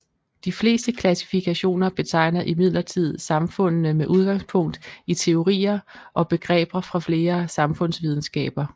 De fleste klassifikationer betegner imidlertid samfundene med udgangspunkt i teorier og begreber fra flere samfundsvidenskaber